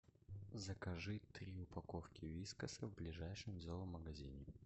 закажи три упаковки вискаса в ближайшем зоомагазине